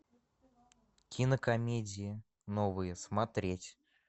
кинокомедии новые смотреть